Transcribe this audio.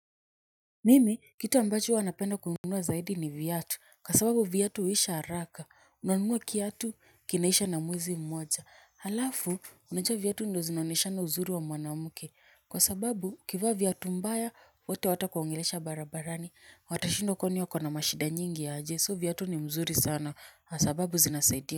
Mimi kitu ambacho huwa napenda kununua zaidi ni viatu kwa sababu vuatu huisha haraka. Unanunua kiatu kinaisha na mwezi moja alafu, unajua viatu ndo zinaoneshanga uzuri wa mwanamke kwa sababu, ukivaa viatu mbaya watu hawata kuongelesha barabarani. Watashindwa kwani huyu akona mashida nyingi aje so viatu ni mzuri sana kwa sababu zinasaidia.